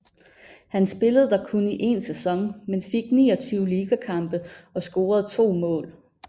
Han spillede der kun i en sæson men fik 29 ligakampe og scorede 2 mål